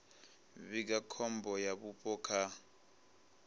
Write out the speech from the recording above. vhiga khombo ya vhupo kha